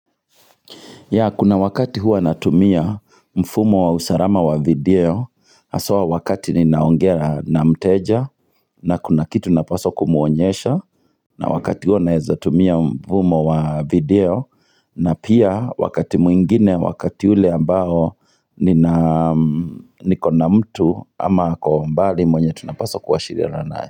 Ya kuna wakati hua natumia mfumo wa usarama wa video Haswa wakati ninaongea na mteja na kuna kitu napaswa kumuonyesha na wakati huo nawezatumia mfumo wa video na pia wakati mwingine wakati ule ambao niko na mtu ama kwa umbali mwenye tunapaswa kuwashirirana naye.